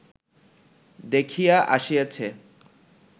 দেখিয়া আসিয়াছে